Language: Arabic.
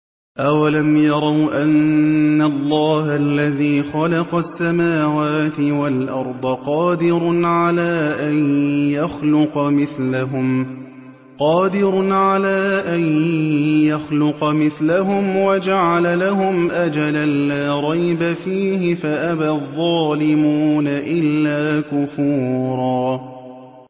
۞ أَوَلَمْ يَرَوْا أَنَّ اللَّهَ الَّذِي خَلَقَ السَّمَاوَاتِ وَالْأَرْضَ قَادِرٌ عَلَىٰ أَن يَخْلُقَ مِثْلَهُمْ وَجَعَلَ لَهُمْ أَجَلًا لَّا رَيْبَ فِيهِ فَأَبَى الظَّالِمُونَ إِلَّا كُفُورًا